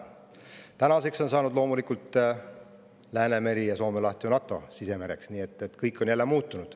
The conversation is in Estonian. Tänaseks on Läänemeri ja Soome laht saanud loomulikult NATO sisemereks, nii et kõik on jälle muutunud.